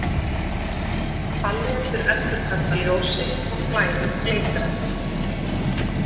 Pallíettur endurkasta ljósi og klæðin glitra.